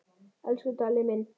Elsku Dalli minn.